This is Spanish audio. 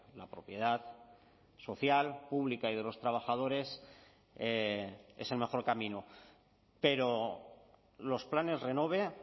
la propiedad social pública y de los trabajadores es el mejor camino pero los planes renove